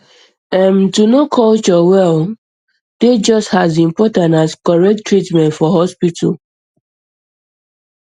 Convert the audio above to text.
erm um to know culture well dey just um as important as correct um treatment for hospital